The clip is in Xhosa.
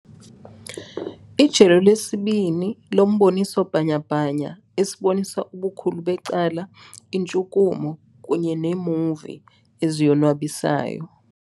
Ijelo lesibini lomboniso bhanyabhanya esibonisa ubukhulu becala intshukumo kunye neemuvi eziyonwabisayo.